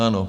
Ano.